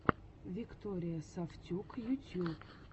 виктория сафтюк ютьюб